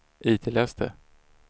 itläs det